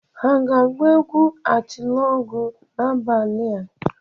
Ha ga-agba egwu atilọgwụ n'abalị a?